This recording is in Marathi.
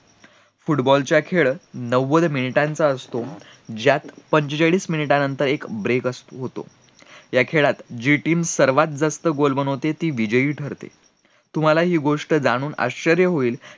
football चा खेळ नव्वद मिनिटाचा असतो ज्यात पंचेचाळीस मिनिटानंतर एक ब्रेक होतो, या खेळात जी team सर्वात जास्त goal करते ती विजयी ठरते, तुम्हाला हि गोष्ट जाणून आश्च्यर्य होईल